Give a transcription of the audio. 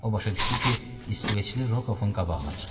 O başa düşdü ki, İsveçli Rokovun qabağına çıxıb.